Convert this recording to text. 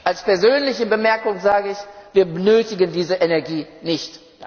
Als persönliche Bemerkung sage ich Wir benötigen diese Energie nicht.